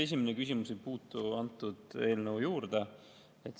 Esimene küsimus ei puutu antud eelnõusse.